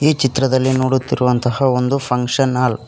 ಈ ಚಿತ್ರದಲ್ಲಿ ನೋಡುತ್ತಿರುವಂತಹ ಒಂದು ಫಂಕ್ಷನ್ ಹಾಲ್ --